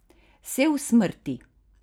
Sel smrti?